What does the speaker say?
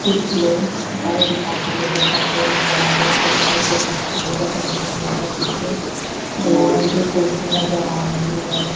कुछ लोग चटाई बिछाकर योगा करते हुए नजर आ रहे हैं पिंक और ब्लू कलर का पानी बोटल दिखाई दे रहा है पीछे भूरे रंग की कुर्सी नजर आ रही है।